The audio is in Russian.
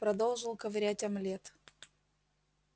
продолжил ковырять омлет